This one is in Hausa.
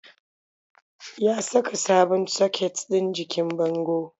Ya saka sabon soket ɗin jikin bango.